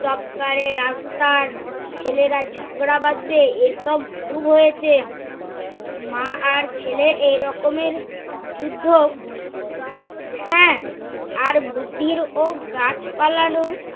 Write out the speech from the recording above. রাস্তার ছেলেরা ঝগড়া বাধবে এসব অসুভ হয়েছে। মা আর ছেলে এ রকমের যুদ্ধ? হ্যা আর বুদ্ধির ও গাছপালারো